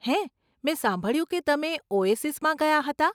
હે, મેં સાંભળ્યું કે તમે ઓએસિસમાં ગયા હતાં.